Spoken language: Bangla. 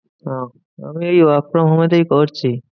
ওহ আমি এই work from home এ তেই করছি।